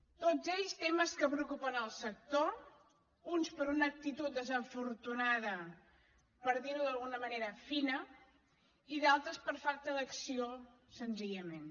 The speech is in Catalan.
tots ells temes que preocupen el sector uns per una actitud desafortunada per dir ho d’una manera fina i d’altres per falta d’acció senzillament